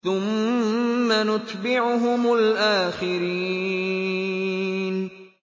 ثُمَّ نُتْبِعُهُمُ الْآخِرِينَ